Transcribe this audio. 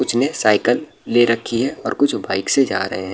कुछ ने सइकल ले रखी है और कुछ बाइक से जा रहे है।